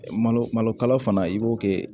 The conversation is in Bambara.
Malo malokalo fana i b'o kɛ